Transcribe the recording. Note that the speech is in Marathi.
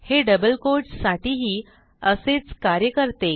हे डबल कोट्स साठीही असेच कार्य करते